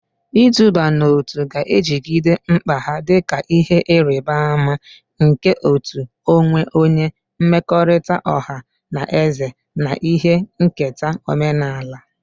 Iduba n'otu ga-ejigide mkpa ha dị ka ihe nrịbama nke uto onwe onye, mmekọrịta ọha na eze, na ihe nketa omenala.